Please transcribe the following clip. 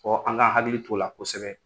Fɔ an k'an hakili t'o la kosɛbɛ.